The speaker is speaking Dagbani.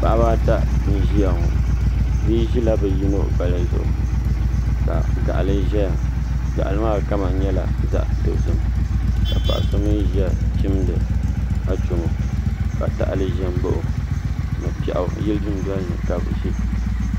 Paɣaba ata n ʒiya ŋo bia ʒila bi yino gbaya zuɣu ka gaɣali ʒɛya gaɣali maa kama nyɛla zaɣ dozim ka paɣa so mii ʒiya chimdi achomo ka tahali ʒɛ n baɣa o ni piɛɣu yili dundoli ni ka bi ʒiya